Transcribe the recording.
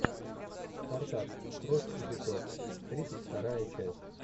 спартак кровь и песок тридцать вторая часть